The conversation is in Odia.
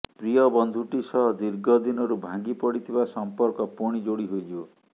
ପ୍ରିୟ ବନ୍ଧୁଟି ସହ ଦୀର୍ଘ ଦିନରୁ ଭାଙ୍ଗି ପଡ଼ିଥିବା ସମ୍ପର୍କ ପୁଣି ଯୋଡ଼ି ହୋଇଯିବ